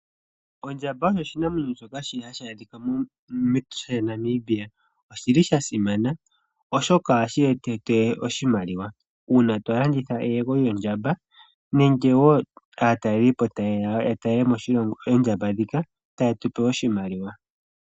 Ondjamba oshinamwenyo shoka hashi adhika mepya lyaNamibia. Oshili sha simana oshoka ohashi eta oshimaliwa uuna tolanditha eyego lyondjamba, nenge woo aatalelipo tayeya yatale oondjamba ndhika etayetupe oshimaliwa.